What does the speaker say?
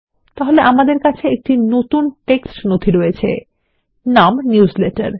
তাহলে আমাদের কাছে একটি নতুন টেক্সট নথি আছে নাম নিউজলেটার